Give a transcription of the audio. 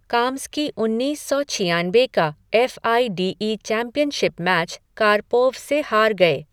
Kamsky उन्नीस सौ छियानबे का F I D E championship match Karpov से हार गए।